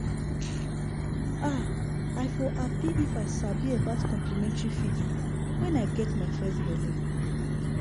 ah i for happy if i sabi about complementary feeding when i get my first belle.